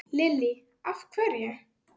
Lillý: Af hverju?